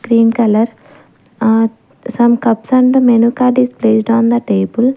cream colour uh some cups and menu card is placed on the table.